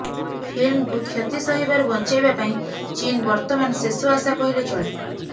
ଫିଲ୍ମକୁ କ୍ଷତି ସହିବାରୁ ବଞ୍ଚାଇବା ପାଇଁ ଚୀନ୍ ବର୍ତ୍ତମାନ ଶେଷ ଆଶା କହିଲେ ଚଳେ